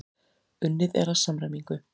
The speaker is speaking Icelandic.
Unnið er að samræmingu.